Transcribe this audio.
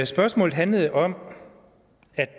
spørgsmålet handlede om